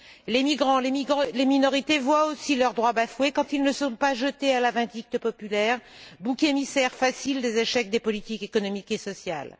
Les migrants et les minorités voient aussi leurs droits bafoués quand ils ne sont pas jetés à la vindicte populaire, boucs émissaires faciles des échecs des politiques économiques et sociales.